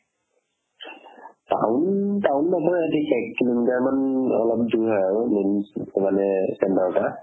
town town নপৰে ঠিক এককিলো' মিটাৰমান অলপ দূৰ হয় আৰু main মানে centre ৰ পৰা